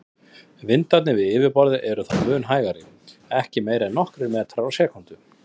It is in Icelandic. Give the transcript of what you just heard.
Vindarnir við yfirborðið eru þó mun hægari, ekki meira en nokkrir metrar á sekúndu.